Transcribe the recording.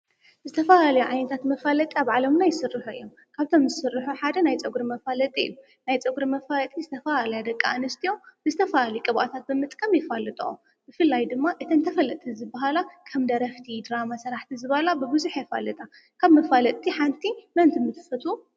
ብዝተፋለዩ ዓይነታት መፋለዪ ኣብ ዓለምና ይስርሑ እዮም፡፡ ካብቶም ዝስርሑ ሓደ ናይ ፀጕሪ መፋለጢ እዩ፡፡ ናይ ፀጕሪ መፋለጢ ድማ ናይ ደቂ ኣንስትዮ ብዝተፈላለየ ቅብኣታት ብምጥቃምም የፋልጥኦ፡፡ ብፍላይ ድማ እተን ተፈለጥቲ ዝበሃላ ከም ደረፍቲ፣ ድራማ ሰራሕቲ ዝበሃላ ብብዙሕ የፋልጣ፡፡ ካብ መፋለጥቲ ሓንቲ መን ትፈትዉ?